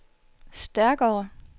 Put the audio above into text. stærkere